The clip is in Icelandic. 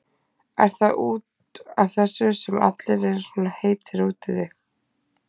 Er það út af þessu sem allir eru svona heitir út í þig?